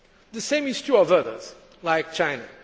The same is true of others, like China.